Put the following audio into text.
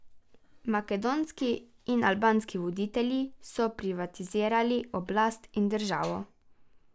Makedonski in albanski voditelji so privatizirali oblast in državo.